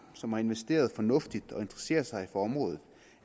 som har investeret fornuftigt og interesserer sig for området